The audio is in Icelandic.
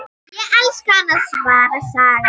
Ég elska hana, svarar Saga.